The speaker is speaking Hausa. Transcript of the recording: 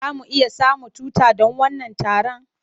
Za mu iya samun tuta don wannan taron?